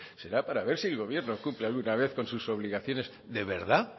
será para ver si el gobierno cumple alguna vez con sus obligaciones de verdad